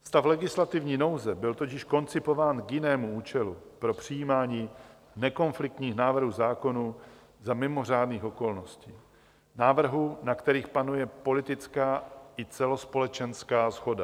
Stav legislativní nouze byl totiž koncipován k jinému účelu, pro přijímání nekonfliktních návrhů zákonů za mimořádných okolností, návrhů, na kterých panuje politická i celospolečenská shoda.